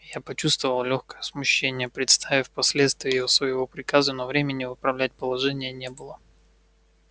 я почувствовал лёгкое смущение представив последствия своего приказа но времени выправлять положение не было